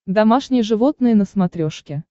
домашние животные на смотрешке